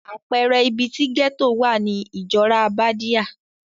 Àpẹẹrẹ ibi ti gẹ́tò wà ni Ìjọ́rá Bádíà.